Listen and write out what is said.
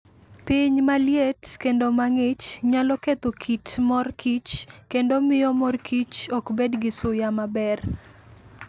Piny maliet kendo mang'ich nyalo ketho kit mor kich kendo miyo mor kich ok bed gi suya maber.